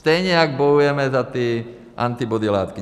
Stejně jak bojujeme za ty antibody látky.